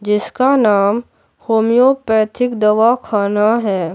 जिसका नाम होमियोपैथिक दवाखाना है।